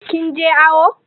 Kin je awo?